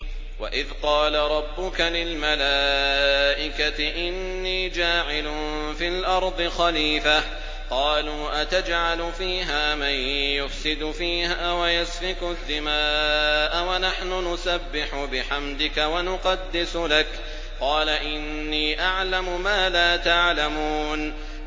وَإِذْ قَالَ رَبُّكَ لِلْمَلَائِكَةِ إِنِّي جَاعِلٌ فِي الْأَرْضِ خَلِيفَةً ۖ قَالُوا أَتَجْعَلُ فِيهَا مَن يُفْسِدُ فِيهَا وَيَسْفِكُ الدِّمَاءَ وَنَحْنُ نُسَبِّحُ بِحَمْدِكَ وَنُقَدِّسُ لَكَ ۖ قَالَ إِنِّي أَعْلَمُ مَا لَا تَعْلَمُونَ